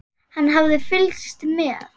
Hann hafði fylgst með